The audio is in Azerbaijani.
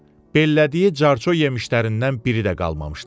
Pəllədiyi carçı yemişlərindən biri də qalmamışdı.